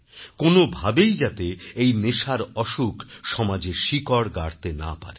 কোন ভাবেই যাতে এই নেশার অসুখ সমাজে শিকড় না গাড়তে পারে